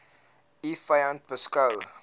u vyand beskou